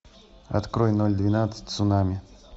открой ноль двенадцать цунами